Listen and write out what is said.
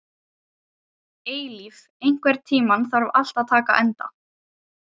Með misjöfnum árangri þó, að því er virtist.